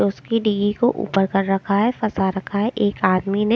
उसके D E को ऊपर कर रखा है फंसा रखा है एक आदमी ने --